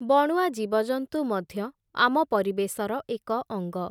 ବଣୁଆ ଜୀବଜନ୍ତୁ ମଧ୍ୟ, ଆମ ପରିବେଶର ଏକ ଅଙ୍ଗ ।